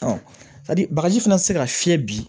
hali bagaji fana tɛ se ka fiyɛ bi